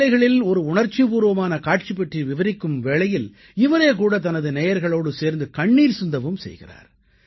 சில வேளைகளில் ஒரு உணர்ச்சிபூர்வமான காட்சி பற்றி விவரிக்கும் வேளையில் இவரே கூட தனது நேயர்களோடு சேர்ந்து கண்ணீர் சிந்தவும் செய்கிறார்